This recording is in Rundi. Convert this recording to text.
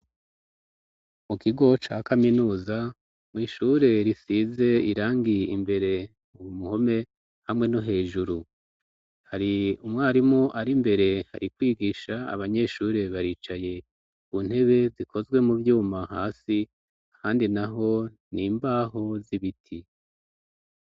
Mu kigo ca kaminuza mw'ishure risize irangiye imbere muhome hamwe no hejuru hari umwarimu ari imbere hari kwigisha abanyeshure baricaye ku ntebe zikozwe mu vyuma hasi handi na ho ni imbaho z'ibiti.